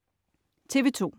TV2: